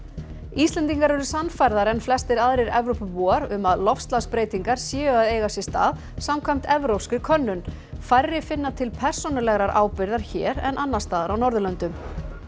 Íslendingar eru sannfærðari en flestir aðrir Evrópubúar um að loftslagsbreytingar séu að eiga sér stað samkvæmt evrópskri könnun færri finna til persónulegrar ábyrgðar hér en annars staðar á Norðurlöndum